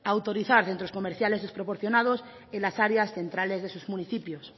a autorizar centros comerciales desproporcionados en las áreas centrales de sus municipios